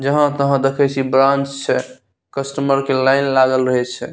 जहाँ तहाँ देखई छी ब्रांच छे कस्टमर के लाइन लागल रही छे।